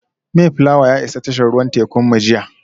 Mayflower ya isa tashar ruwan tekunmu jiya